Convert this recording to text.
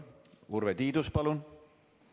Urve Tiidus, palun!